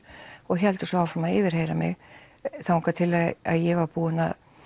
og héldu svo áfram að yfirheyra mig þangað til ég var búin